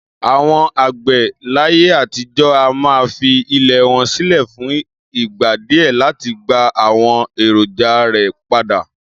Àwo̩n àgbè̩ láyé àtijó̩ a máa fi ilè̩ wo̩n sílè̩ fún ìgbà díè láti gba àwo̩n èròjà rè̩ padà